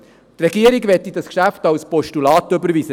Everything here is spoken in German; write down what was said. Die Regierung möchte dieses Geschäft als Postulat entgegennehmen.